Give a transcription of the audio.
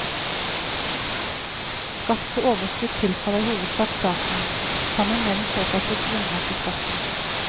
Skatt på overskudd tilfaller i hovedsak staten, sammen med den såkalte grunnrenteskatten.